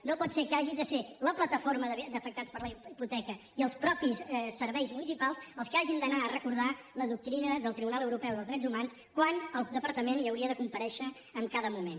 no pot ser que hagi de ser la plataforma d’afectats per la hipoteca i els mateixos serveis municipals els que hagin d’anar a recordar la doctrina del tribunal europeu dels drets humans quan el departament hi hauria de comparèixer en cada moment